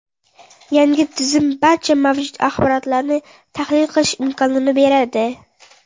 Yangi tizim barcha mavjud axborotlarni tahlil qilish imkonini beradi.